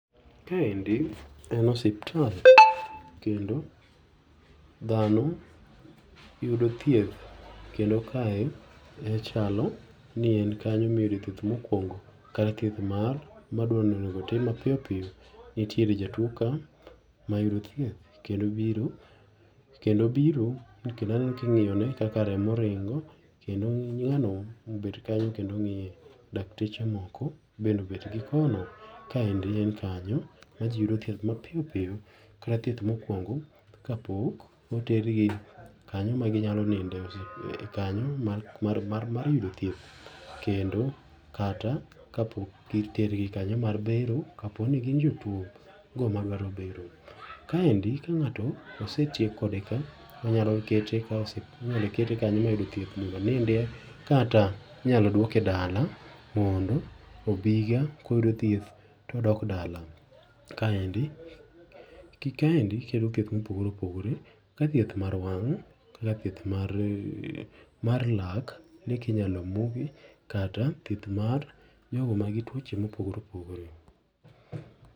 Kaendi en osiptal kendo dhano yudo thieth kendo kae e chalo ni en kanyo miyude thieth mokwongo kata thieth mar madwani onego otim ma piyopiyo. Nitiere jatuo ka ma yudo thieth kendo biro kendo obiro kendo aneno ka ing'io ne kaka remo ringo kendo ng'ano mobet kanyo kendo ng'ie, dakteche moko bende obet gi kono. Kaendi en kanyo ma jii yudo thieth ma piyopiyo kata thieth mokwongo ka pok otergi kanyo ma ginyalo ninde kanyo mar mar mar yudo thieth kendo kata kapok gitergi kanyo mar bero kaponi gin jotuo go madwaro bero. Kaendi ka ng'ato osetiek kode ka, onyalo kete inyalo kete kanyo moyude thieth mondo onindie, kata inyalo duoke dala mondo obiga koyudo thieth to odok dala. Kaendi ,kaendi thieth mopogore opogore ka thieth mar wang', kaka thieth mar mar lak ne kinyalo muki kata thieth mar jogo manigi tuoche mopogore opogore.